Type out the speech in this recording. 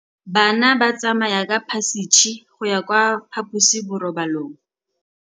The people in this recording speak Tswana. Bana ba tsamaya ka phašitshe go ya kwa phaposiborobalong.